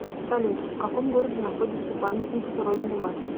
салют в каком городе находится памятник родина мать